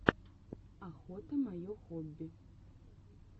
охота мое хобби